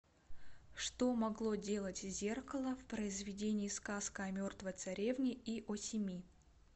что могло делать зеркало в произведении сказка о мертвой царевне и о семи